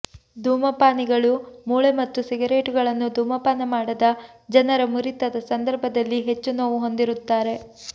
ಧೂಮಪಾನಿಗಳು ಮೂಳೆ ಮತ್ತು ಸಿಗರೇಟುಗಳನ್ನು ಧೂಮಪಾನ ಮಾಡದ ಜನರ ಮುರಿತದ ಸಂದರ್ಭದಲ್ಲಿ ಹೆಚ್ಚು ನೋವು ಹೊಂದಿರುತ್ತಾರೆ